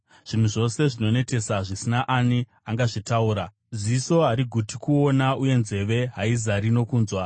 Zvinhu zvose zvinonetesa, zvisina ani angazvitaura. Ziso hariguti kuona, uye nzeve haizari nokunzwa.